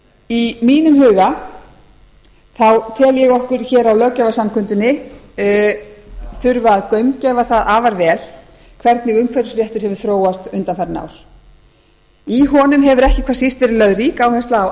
í mínum huga tel ég okkur hér á löggjafarsamkundunni þurfa að gaumgæfa það afar vel hvernig umhverfisrétturinn hefur þróast undanfarin ár í honum hefur ekki hvað síst verið lögð rík áhersla á